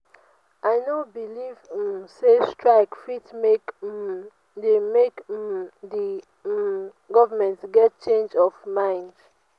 i no beliv um sey strike fit make um di make um di um government get change of mind.